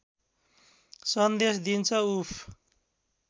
सन्देश दिन्छ उफ्